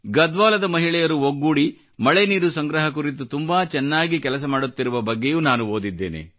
ಗಡ್ವಾಲದ ಮಹಿಳೆಯರು ಒಗ್ಗೂಡಿ ಮಳೆ ನೀರು ಸಂಗ್ರಹ ಕುರಿತು ತುಂಬಾ ಚೆನ್ನಾಗಿ ಕೆಲಸ ಮಾಡುತ್ತಿರುವ ಬಗ್ಗೆಯೂ ನಾನು ಓದಿದ್ದೇನೆ